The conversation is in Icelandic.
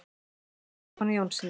Mynd frá Stefáni Jónssyni.